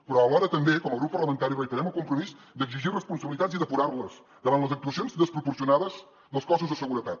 però alhora també com a grup parlamentari reiterem el compromís d’exigir responsabilitats i depurar les davant les actuacions desproporcionades dels cossos de seguretat